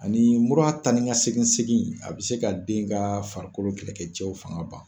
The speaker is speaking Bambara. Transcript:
Ani muru tan ni ka segin segin a bɛ se ka den ka farikolo kɛlɛkɛ cɛw fanga ban.